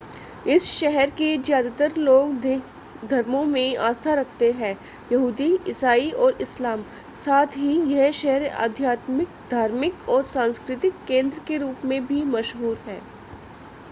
इस शहर के ज़्यादातर लोग तीन धर्मों में आस्था रखते हैं यहूदी ईसाई और इस्लाम साथ ही यह शहर आध्यात्मिक धार्मिक और सांस्कृतिक केंद्र के रूप में भी मशहूर है